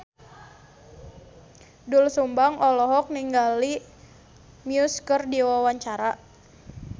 Doel Sumbang olohok ningali Muse keur diwawancara